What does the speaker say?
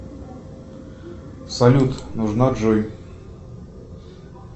салют нужна джой